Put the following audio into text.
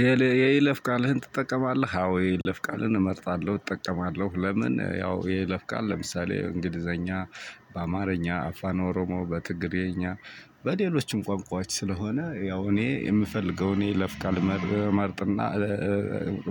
የይለፍ ቃልህን ትጠቀማለህ? አዎ የይለፍ ቃልን እመርጣለሁ፤ እጠቀማለሁ። ለምን ያው የይለፍ ቃል ለምሳሌ እንግሊዘኛ በአማርኛ፣ አፋን ኦሮሞ፣ በትግርኛ፣ በሌሎችም ቋንቋዎች ስለሆነ ያው እኔ የምፈልገውን እኔ የይለፍ ቃል እመርጥና